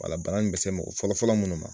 bana nin bɛ se mɔgɔ fɔlɔ fɔlɔ munnu ma.